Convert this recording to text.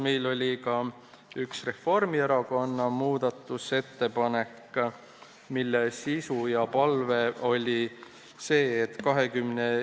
Meil oli ka üks Reformierakonna muudatusettepanek, mille sisu on see ...